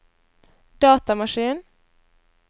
datamaskin